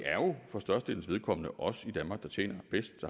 for størstedelens vedkommende er os i danmark der tjener bedst